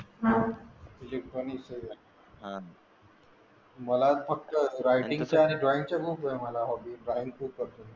हा इलेक्ट्रॉनिक्स मला फक्त रायटिंग आणि ड्रॉईंग चे खूप आहे मला हॉबी.